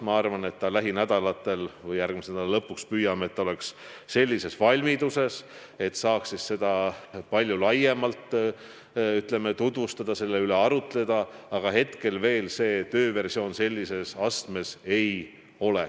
Ma arvan, et lähinädalatel või järgmise nädala lõpuks püüame olla sellises valmiduses, et me saaksime seda palju laiemalt tutvustada ja selle üle arutleda, aga praegu see veel sellises valmidusastmes ei ole.